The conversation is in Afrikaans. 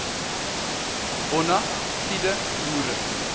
bona fide boere